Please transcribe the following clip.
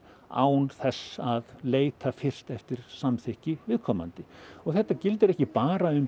á þess að leita fyrst eftir samþykki viðkomandi þetta gildir ekki bara um